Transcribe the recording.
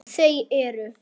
Þau eru